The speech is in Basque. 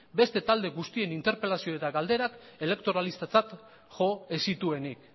beste talde guztien interpelazio eta galderak elektoralistatzat jo ez zituenik